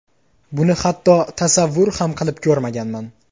Buni hatto tasavvur ham qilib ko‘rmaganman.